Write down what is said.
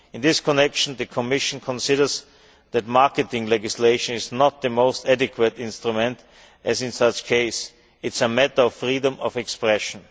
In this connection, the Commission considers that marketing legislation is not the most adequate instrument, as it is a matter of freedom of expression.